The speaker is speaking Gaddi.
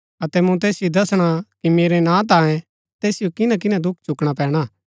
अतै मूँ तैसिओ दसणा कि मेरा नां तांयें तैसिओ किन्‍ना किन्‍ना दुख चुकणा पैणा